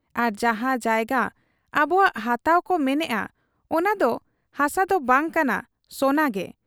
ᱟᱨ ᱡᱟᱦᱟᱸ ᱡᱟᱭᱜᱟ ᱟᱵᱚᱠᱚᱣᱟᱜ ᱦᱟᱛᱟᱣ ᱠᱚ ᱢᱮᱱᱮᱜ ᱟ, ᱚᱱᱟᱫᱚ ᱦᱟᱥᱟᱫᱚ ᱵᱟᱝ ᱠᱟᱱᱟ ᱥᱚᱱᱟᱜᱮ ᱾